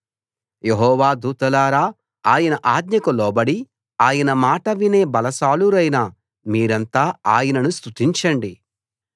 యెహోవా దూతలారా ఆయన ఆజ్ఞకు లోబడి ఆయన మాట వినే బలాశాలురైన మీరంతా ఆయనను స్తుతించండి